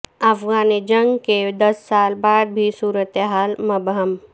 افغان جنگ کے دس سال بعد بھی صورتحال مبہم